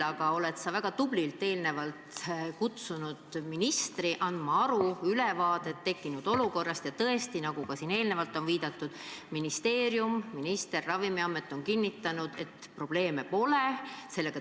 Aga sa oled väga tublilt ka eelnevalt kutsunud ministri andma ülevaadet tekkinud olukorrast ja tõesti, nagu siin ka enne on viidatud, ministeerium, minister ja Ravimiamet on kinnitanud, et probleeme pole.